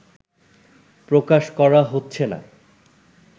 প্রকাশ করা হচ্ছে না